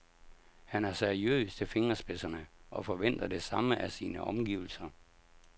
Han er seriøs til fingerspidserne og forventer det samme af sine omgivelser.